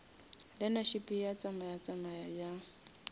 learnership ye tsamaya tsamaya bjang